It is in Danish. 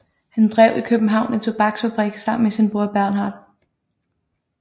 Han drev i København en tobaksfabrik sammen med sin bror Bernhard